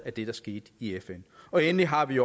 af det der skete i fn endelig har vi